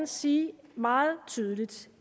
sige meget tydeligt